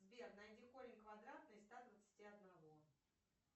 сбер найди корень квадратный из ста двадцати одного